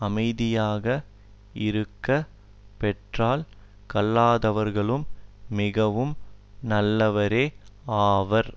அமைதியாக இருக்க பெற்றால் கல்லாதவர்களும் மிகவும் நல்லவரே ஆவார்